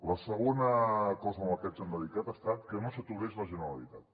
la segona cosa a la que ens hem dedicat ha estat que no s’aturés la generalitat